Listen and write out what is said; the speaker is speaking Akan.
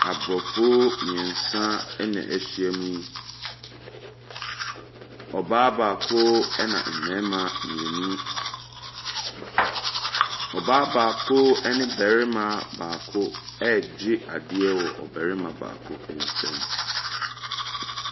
Aborɔfo mmeɛnsa na wɔahyiam yi. Ɔbaa baako na mmarima mmienu. Ɔbaa baako ne ɔbarima baako regye adeɛ afiri ɔbarima baako nsam.